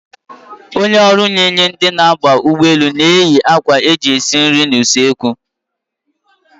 Onye ọrụ inye ndị na-aba ụgbọelu nri na-eyi akwa eji esi nri n'usoekwu